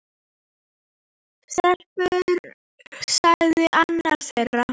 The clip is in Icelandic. Stelpur sagði annar þeirra.